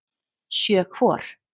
Sjö hvor.